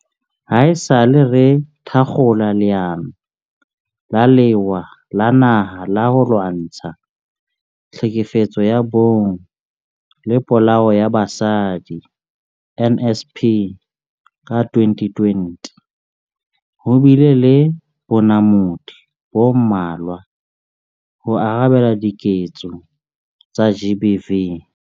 Haesale re thakgola Leano la Lewa la Naha la ho Lwantsha Tlhekefetso ya Bong le Polao ya Basadi NSP ka 2020, ho bile le bonamodi bo mmalwa ho arabela diketso tsa GBV.